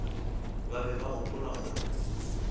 ba be ba gopola gore